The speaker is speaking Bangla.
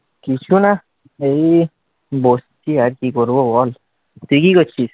কিছু না আর কি করব বল, তুই কি করছিস?